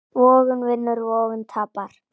Vogun vinnur, vogun tapar.